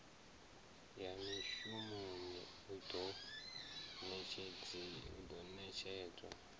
ya mishumoni u do netshedzwa